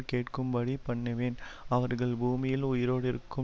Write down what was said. கேட்கும்படி பண்ணுவேன் அவர்கள் பூமியில் உயிரோடிருக்கும்